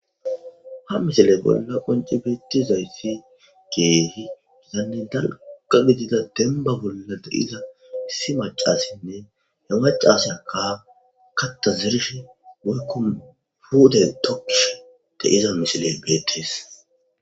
ha misile bolla qonci beettizayssi kehi gitanne dalqa gidida demba bolla de'iza issi macassinne he macasyakka katta zirsh woykkon pute tokkish de'iza misiley beetris